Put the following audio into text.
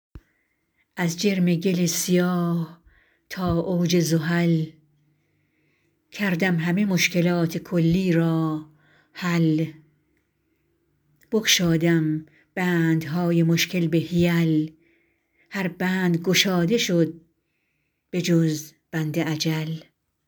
از جرم گل سیاه تا اوج زحل کردم همه مشکلات کلی را حل بگشادم بندهای مشکل به حیل هر بند گشاده شد بجز بند اجل